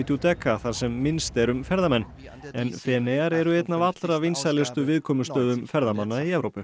Giudecca þar sem minnst er um ferðamenn en Feneyjar eru einn af allra vinsælustu viðkomustöðum ferðamanna í Evrópu